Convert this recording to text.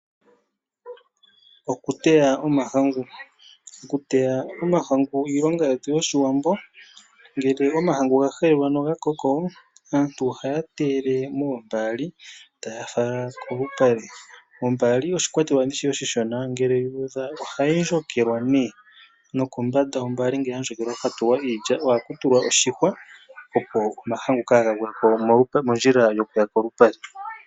Okuteya omahangu Okuteya omahangu iilonga yetu yOshiwambo. Mgele omahangu ngele ga helelwa noga koko aantu ohaya teyele moombaali taya fala kolupale. Ombaali oshikwatelwa oshishona, ngele yu udha ohayi dhikilwa, nokombanda yombaali ngele ya dhikilwa ohaku tulwa oshihwa, opo omahangu kaaga gwe ko okuya mondjila yokuya kolupale.